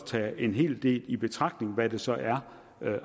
tage en hel del i betragtning hvad det så er